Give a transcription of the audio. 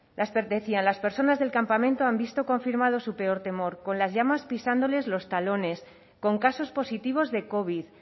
decían las personas del campamento han visto confirmado su peor temor con las llamas pisándoles los talones con casos positivos de covid